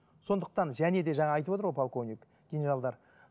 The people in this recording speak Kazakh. сондықтан және де жаңа айтып отыр ғой жаңа полковник генералдар